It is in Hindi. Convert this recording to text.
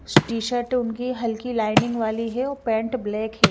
टी शर्ट उनकी हलकी लाइनिंग वाली है और पेंट ब्लैक है।